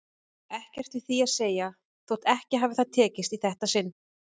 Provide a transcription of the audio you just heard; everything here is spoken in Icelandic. Ekkert við því að segja þótt ekki hafi það tekist í þetta sinn.